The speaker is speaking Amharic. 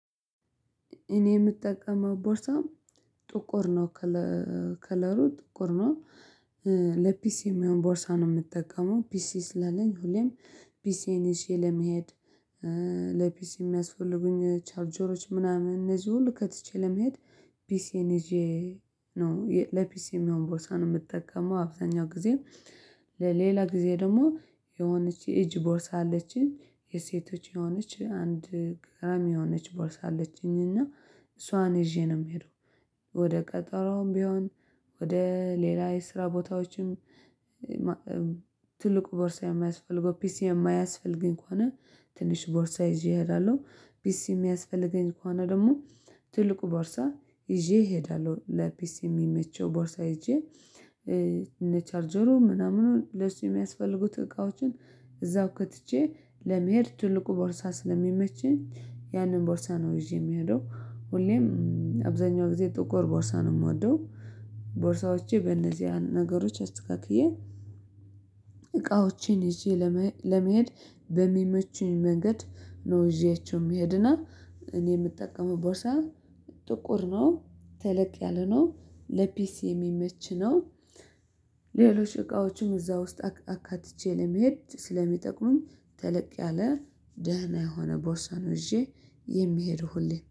እኔ የምጠቀመው ቦርሳ ጥቁር ነው። ከለሩ ጥቁር ነው። የሚሆን ቦርሳ ነው የምጠቀመው ፒሲ ስላለኝ ሁሌም ፒሲዬን ይዤ ለመሄድ ለፒሲ የሚያስፈልጉኝ ቻርጀሮች ምናምን እነዚህ ሁሉ ከትቼ ለመሄድ። ፒሲዬን ይዤ ነው ለፒሲ የሚሆን ቦርሳ ነው የምጠቀመው አብዛኛው ጊዜም። ለሌላ ጊዜ ደግሞ የሆነች የእጅ ቦርሳ አለችኝ የሴቶች የሆነች አንድ ግራም የሆነች ቦርሳ አለችኝ እና እሷን ይዤ ነው የምሄደው ወደ ቀጠሮውም ቢሆን ወደ ሌላ የስራ ቦታዎችም። ትልቁ ቦርሳ የማያስፈልገው ፒሲ የማያስፈልገኝ ከሆነ ትንሽ ቦርሳ ይዤ እሄዳለሁ። ፒሲ የሚያስፈልገኝ ከሆነ ደግሞ ትልቁ ቦርሳ ይዤ እሄዳለሁ። ለፒሲ የሚመቸው ቦርሳ ሄጄ እንደ ቻርጀሩ ምናምኑን ለሱ የሚያስፈልጉት እቃዎችን እዛው ከትቼ ለመሄድ ትልቁ ቦርሳ ስለሚመቸኝ ያንን ቦርሳ ነው ይዤ የምሄደው ሁሌም። አብዛኛው ጊዜ ጥቁር ቦርሳ ነው የምወደው። ቦርሳዎቼ በእነዚያ ነገሮች አስተካክዬ እቃዎቼን ይዤ ለመሄድ በሚመቸኝ መንገድ ነው። ይዤያቸው የሚሄድ እና እኔ የምጠቀመው ቦርሳ ጥቁር ነው። ተለቅ ያለ ነው ለፒሲ የሚመች ነው። ሌሎች እቃዎችም እዛ ውስጥ አካትቼ ለመሄድ ስለሚጠቅሙኝ ተለቅ ያለ ደህና የሆነ ቦርሳን ይዤ የሚሄደው ሁሌ